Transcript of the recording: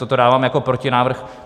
Toto dávám jako protinávrh.